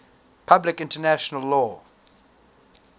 public international law